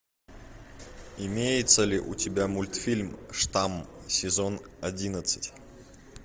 имеется ли у тебя мультфильм штамм сезон одиннадцать